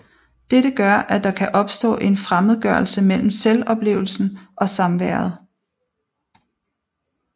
Dette gør at der kan opstå en fremmedgørelse mellem selvoplevelsen og samværet